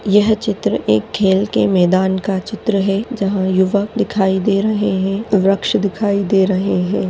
यह चित्र एक खेल के मैदान का चित्र है जहा यूवक दिखाई दे रहे है वृक्ष दिखाई दे रहे है।